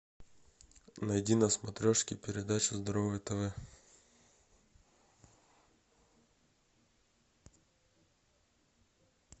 найди на смотрешке передачу здоровое тв